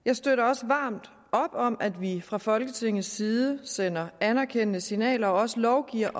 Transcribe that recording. jeg støtter også varmt op om at vi fra folketingets side sender anerkendende signaler og også lovgiver